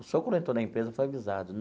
O senhor quando entrou na empresa foi avisado.